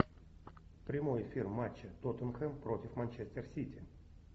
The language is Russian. прямой эфир матча тоттенхэм против манчестер сити